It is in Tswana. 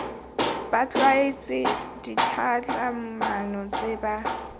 ba tlwaetse ditlhatlhamano tse ba